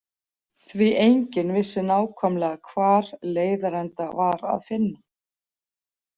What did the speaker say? Því enginn vissi nákvæmlega hvar leiðarenda var að finna.